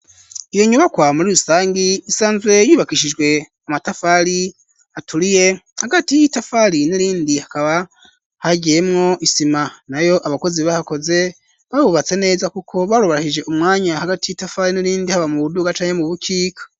Iyi nyubakwa muri rusangi isanzwe yubakishijwe amatafari aturiye hagati y'itafari n'irindi hakaba hagiyemwo isima nayo abakozi bahakoze bahubatse neza kuko barubahirije umwanya hagati y'itafari n'irindi haba mu buduga canke mu bukika.